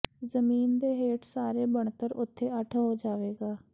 ਜ਼ਮੀਨ ਦੇ ਹੇਠ ਸਾਰੇ ਬਣਤਰ ਉਥੇ ਅੱਠ ਹੋ ਜਾਵੇਗਾ